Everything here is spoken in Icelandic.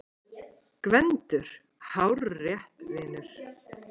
GVENDUR: Hárrétt, vinur!